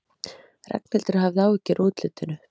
Ragnhildur hafði áhyggjur af útlitinu.